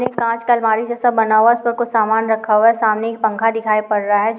ये कांच का अलमारी जैसा बना हुआ है उसपे कुछ सामान रखा हुआ है सामने एक पंखा दिखाई पड़ रही है जो--